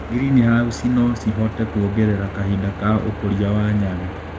Greenhausi nocihote kuongerera kahinda ka ũkũria wa nyanya.